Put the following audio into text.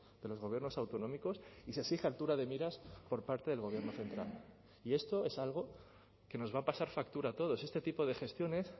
de los gobiernos autonómicos y se exige altura de miras por parte del gobierno central y esto es algo que nos va a pasar factura a todos este tipo de gestiones